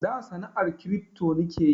Da sana'an kiripto nike yi